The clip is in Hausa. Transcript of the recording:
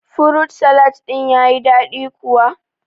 Furut salad din ya yi daɗi kuwa?